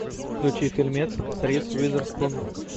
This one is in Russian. включи фильмец с риз уизерспун